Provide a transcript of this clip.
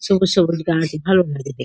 সবুজ সবুজ গাছ। ভালো লাগে দেখ--